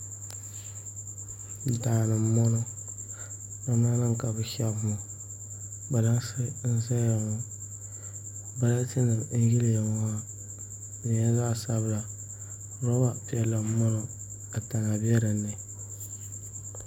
Daani n bɔŋɔ namda nim ka bi shɛbi ŋɔ kpalansi n ʒɛya ŋɔ balati nim n yiliya ŋɔ di nyɛla zaɣ sabila roba piɛla n bɔŋɔ ka tana bɛ dinni